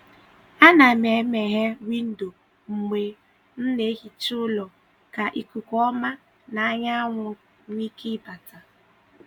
A na m e meghee windo mgbe m na-ehicha ụlọ ka ikuku ọma na anyanwụ nwee ike bata.